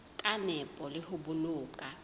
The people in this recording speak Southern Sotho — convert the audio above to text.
ka nepo le ho boloka